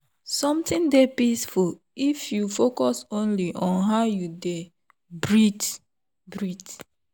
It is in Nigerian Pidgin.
something dey peaceful if you focus only on how you dey breathe. breathe.